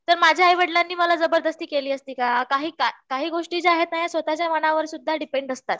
तर माझ्या आईवडिलांनी मला जबरदस्ती केली असती का? काही काय काही गोष्टी या स्वतःच्या मनावर सुद्दा डिपेंड असतात